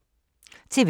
TV 2